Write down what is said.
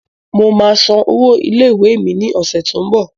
Mo máa san owó ilẹ̀ ìwé mi ni ọ̀sẹ̀ t ó ń bọ̀